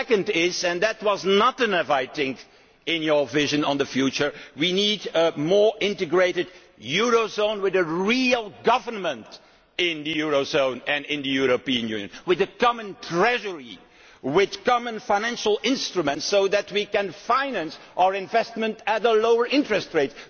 Secondly and there was not enough of this in your vision of the future we need a more integrated eurozone, with a real government in the eurozone and in the European Union, with a common treasury, with common financial instruments so that we can finance our investments at a lower interest rate.